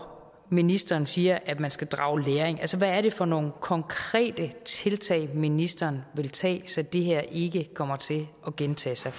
ministeren siger at man skal drage læring hvad er det for nogle konkrete tiltag ministeren vil tage så det her ikke kommer til at gentage sig